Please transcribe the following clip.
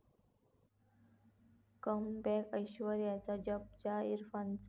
comeback ऐश्वर्याचं 'जज्बा' इरफानचा